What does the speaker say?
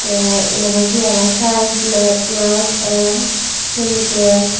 te yanot he aro saen lab glass and chemical.